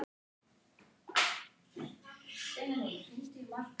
Er heimilt að ráðstafa barninu á heimili sem talið er heilbrigt og gott?